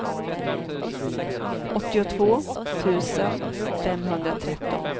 åttiotvå tusen femhundratretton